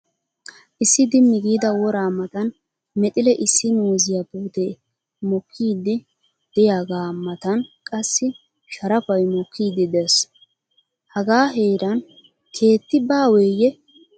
Issi Dimmi giida woraa matan mexile issi muuziya puutee mokkiiddi diyaga matan qassi sharapay mokkiiddi des. Hagaa heeran keetti baawee?